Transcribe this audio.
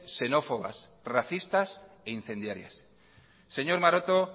xenófobas racistas e incendiarias señor maroto